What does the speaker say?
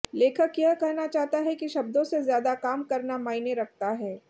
लेखक यह कहना चाहता है कि शब्दों से ज्यादा काम करना माइने रखता है